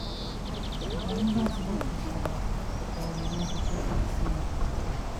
ṣùgbọ́n nígbà tí yóò fi padà dé kò bá ọmọ níbi tó gbé e sí mọ́